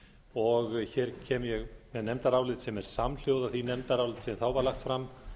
og hér kem ég með nefndarálit sem er samhljóða því nefndaráliti sem þá var lagt fram